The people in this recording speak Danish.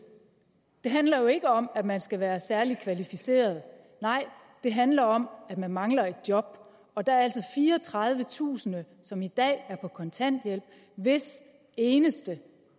det handler jo ikke om at man skal være særlig kvalificeret nej det handler om at man mangler et job og der er altså fireogtredivetusind som i dag er på kontanthjælp og hvis eneste